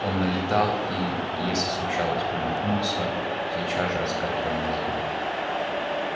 он налетал и если случалось промахнуться сейчас же отскакивал назад